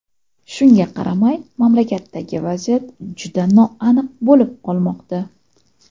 Shunga qaramay, mamlakatdagi vaziyat juda noaniq bo‘lib qolmoqda.